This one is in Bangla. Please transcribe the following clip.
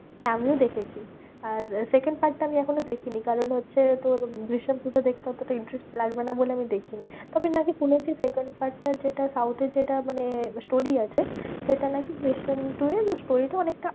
আমিও দেখেছি। আর second part টা আমি এখনও দেখিনি, কারণ হচ্ছে তোর দৃশ্যাম two টা দেখতে অতটা interest লাগবে না বলে আমি দেখিনি। তবে নাকি শুনেছি second part টা যেটা South এ যেটা মানে story আছে, সেটা নাকি দৃশ্যাম two এর story টা অনেকটা